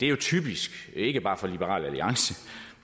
er typisk ikke bare for liberal alliance